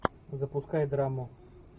запускай драму